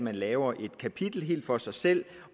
at lave et kapitel helt for sig selv